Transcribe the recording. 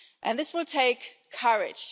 This will take courage.